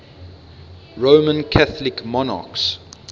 roman catholic monarchs